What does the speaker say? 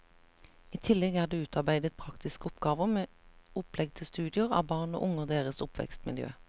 I tillegg er det utarbeidet praktiske oppgaver med opplegg til studier av barn og unge og deres oppvekstmiljø.